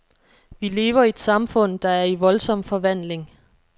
Vi lever i et samfund, der er i voldsom forvandling.